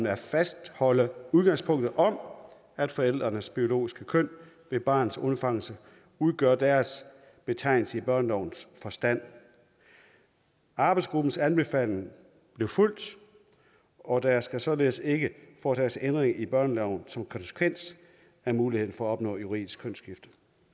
at fastholde udgangspunktet om at forældrenes biologiske køn ved barnets undfangelse udgør deres betegnelse i børnelovens forstand arbejdsgruppens anbefaling blev fulgt og der skal således ikke foretages ændringer i børneloven som konsekvens af muligheden for at opnå juridisk kønsskifte